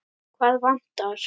Hvað vantar?